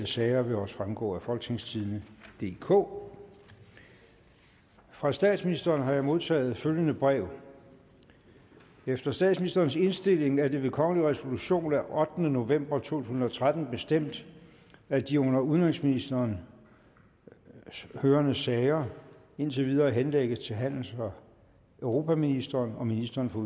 sager vil også fremgå af folketingstidende DK fra statsministeren har jeg modtaget følgende brev efter statsministerens indstilling er det ved kongelig resolution af ottende november to tusind og tretten bestemt at de under udenrigsministeren hørende sager indtil videre henlægges til handels og europaministeren og ministeren for